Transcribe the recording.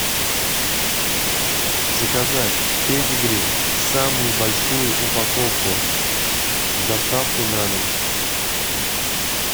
заказать педигри самую большую упаковку с доставкой на дом